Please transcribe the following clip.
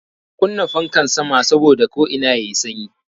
Ka kunna fankan sama saboda ko'ina yayi sanyi